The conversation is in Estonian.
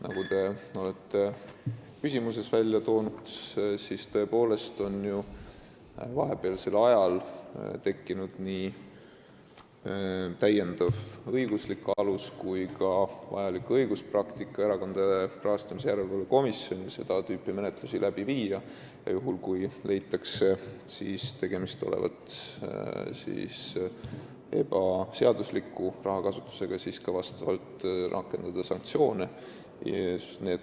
Nagu te oma küsimuses välja tõite, on ju vahepealsel ajal tõepoolest tekkinud nii täiendav õiguslik alus kui ka vajalik õiguspraktika Erakondade Rahastamise Järelevalve Komisjonis seda tüüpi menetlusi läbi viia, ja juhul kui leitakse, et tegemist on ebaseadusliku rahakasutusega, siis ka sanktsioone rakendada.